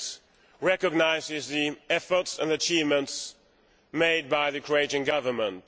it recognises the efforts and achievements made by the Croatian Government.